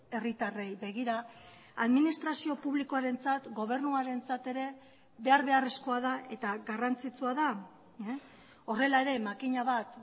herritarrei begira administrazio publikoarentzat gobernuarentzat ere behar beharrezkoa da eta garrantzitsua da horrela ere makina bat